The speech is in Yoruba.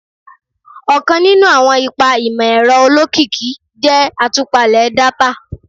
Ọkan ninu awọn ipa imọ-ẹrọ olokiki jẹ atupale data